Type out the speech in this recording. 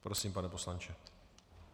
Prosím, pane poslanče.